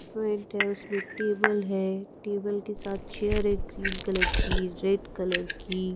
front है उसमें table है टेबल के साथ चेयर है ग्रीन कलर की रेड कलर की --